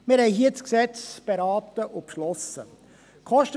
Wir berieten und beschlossen das Gesetz hier.